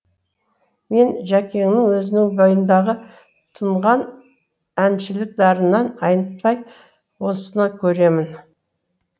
мен жәкеңнің өзінің бойындағы тұнған әншілік дарынынан айнытпай осыны көремін